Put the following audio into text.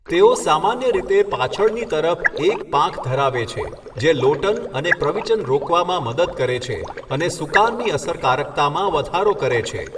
તેઓ સામાન્ય રીતે પાછળની તરફ એક પાંખ ધરાવે છે, જે લોટન અને પ્રવિચન રોકવામાં મદદ કરે છે અને સુકાનની અસરકારકતામાં વધારો કરે છે.